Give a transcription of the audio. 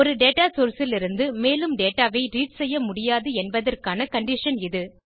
ஒரு data source லிருந்து மேலும் டேட்டா ஐ ரீட் செய்யமுடியாது என்பதற்கான கண்டிஷன் இது